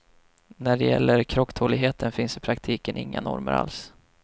När det gäller krocktåligheten finns i praktiken inga normer alls.